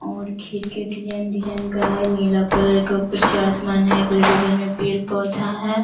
और खिड़की design design का है। नीला कलर का ऊपर चा आसमान है। अगल-बगल में पेड़-पौधा है।